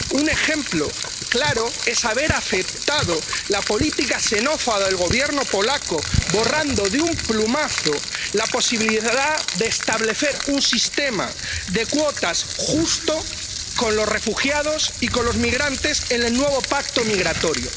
Un ejemplo claro es haber aceptado la política xenófoba del Gobierno polaco, borrando de un plumazo la posibilidad de establecer un sistema de cuotas justo con los refugiados y con los migrantes en el nuevo pacto migratorio.